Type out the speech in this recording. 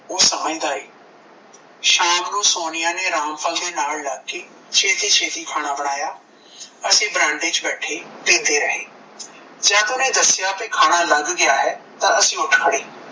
ਓਹ ਸਮਝਦਾ ਏ ਸ਼ਾਮਨੂੰ ਸੋਨੀਆ ਨੇ ਰਾਮ ਫਲ ਦੇ ਨਾਲ ਲੱਗ ਕੇ ਛੇਤੀ ਛੇਤੀ ਖਾਣਾ ਅਸੀਂ ਬਰਾਂਡੇ ਵਿੱਚ ਬੈਠੇ ਪੀਂਦੇ ਰਹੇ ਜਦ ਉਸਨੇ ਦੱਸਿਆ ਕੀ ਖਾਣਾ ਲੱਗ ਗਿਆ ਹੈ ਤਾਂ ਅਸੀਂ ਉਠ ਖੜੇ